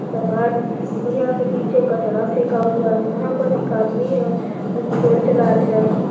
समान और यहां पे नीचे कचरा फेंका हुआ है यहां पर एक आदमी है वो फोन चला रहे हैं।